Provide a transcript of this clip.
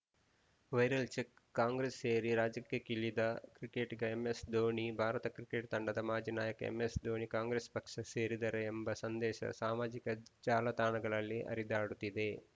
viral check Congress ಸೇರಿ ರಾಜಕೀಯಕ್ಕಿಳಿದ ಕ್ರಿಕೆಟಿಗ ಎಂಎಸ್‌ ಧೋನಿ ಭಾರತ ಕ್ರಿಕೆಟ್‌ ತಂಡದ ಮಾಜಿ ನಾಯಕ ಎಂಎಸ್‌ ಧೋನಿ ಕಾಂಗ್ರೆಸ್‌ ಪಕ್ಷ ಸೇರಿದ್ದರೆ ಎಂಬ ಸಂದೇಶ ಸಾಮಾಜಿಕ ಜಾಲತಾಣಗಳಲ್ಲಿ ಹರಿದಾಡುತ್ತಿದೆ